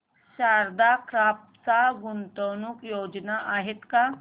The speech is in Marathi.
शारदा क्रॉप च्या गुंतवणूक योजना आहेत का